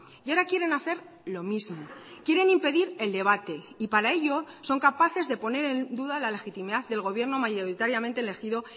y ahora quieren hacer lo mismo quieren impedir el debate y para ello son capaces de poner en duda la legitimidad del gobierno mayoritariamente elegido